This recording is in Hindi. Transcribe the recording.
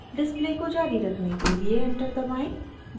डिस्प्ले को जारी रखने के लिए एंटर दबाएं